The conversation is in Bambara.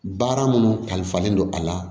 Baara minnu kalifalen don a la